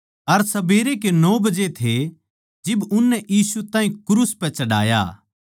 अर सबेरे के नो बजे थे जिब उननै यीशु ताहीं क्रूस पै चढ़ाया